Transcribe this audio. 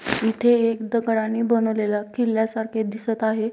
इथे एक दगडाने बनवलेला किल्यासारखे दिसत आहे.